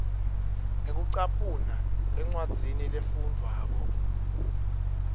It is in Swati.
ngekucaphuna encwadzini lefundvwako